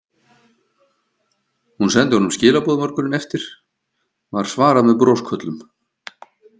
Hún sendi honum skilaboð morguninn eftir, var svarað með brosköllum.